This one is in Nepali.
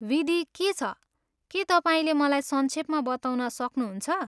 विधि के छ, के तपाईँले मलाई संक्षेपमा बताउन सक्नुहुन्छ?